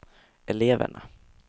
eleverna